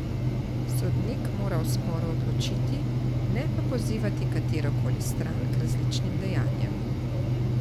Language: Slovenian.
Sodnik mora o sporu odločiti, ne pa pozivati katero koli stran k različnim dejanjem.